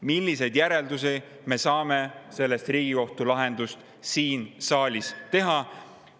Milliseid järeldusi me saame sellest Riigikohtu lahendist siin saalis teha?